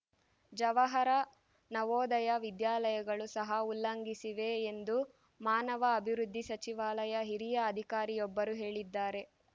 ಜವಾಹರ ನವೋದಯ ವಿದ್ಯಾಲಯಗಳು ಸಹ ಉಲ್ಲಂಘಿಸಿವೆ ಎಂದು ಮಾನವ ಅಭಿವೃದ್ಧಿ ಸಚಿವಾಲಯ ಹಿರಿಯ ಅಧಿಕಾರಿಯೊಬ್ಬರು ಹೇಳಿದ್ದಾರೆ